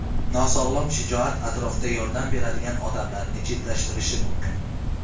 Nosog‘lom shijoat atrofda yordam beradigan odamlarni chetlashtirishi mumkin.